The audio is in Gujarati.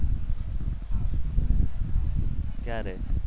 ક્યારે